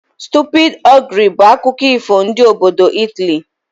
Stupid ogre' bụ akụkọ ifo ndị obodo Italy